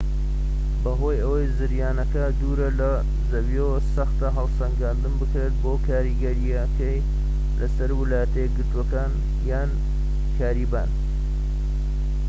بەهۆی ئەوەی زریانەکە دوورە لە زەویەوە سەختە هەڵسەنگاندن بکرێت بۆ کاریگەریەکەی لەسەر ویلایەتە یەکگرتوەکان یان کاریبیان